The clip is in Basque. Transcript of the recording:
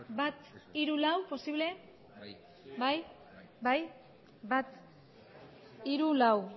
bat hiru eta lau